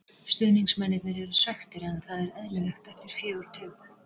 Stuðningsmennirnir eru svekktir en það er eðlilegt eftir fjögur töp.